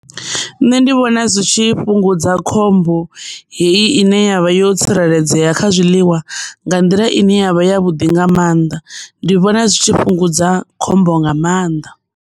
Nṋe ndi vhona zwi tshi fhungudza khombo heyi ine yavha yo tsireledzea kha zwiḽiwa nga nḓila ine yavha ya vhuḓi nga mannḓa ndi vhona zwi tshi fhungudza khombo nga maanḓa.